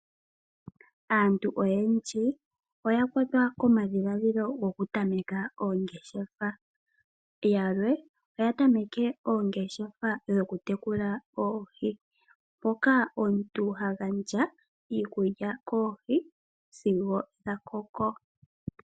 Aantu oyendji oya kwatwa komadhiladhilo goku tameka oongeshefa . Yalwe oya tameke oongeshefa dho ku tekula oohi moka omuntu ha gandja iikulya koohi sigo dha koko .